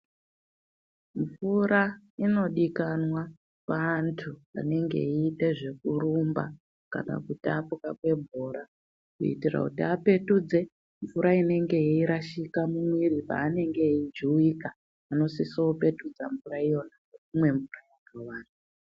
Mvura inodikanwa paantu anenge eite zvekurumba kana kutambwa kwebhora kuitire kuti apetudze mvura inenge yeirashika mumwiri paanenge eijuwika anosise kupetudze mvura iya ngekumwe mvura yakawanda.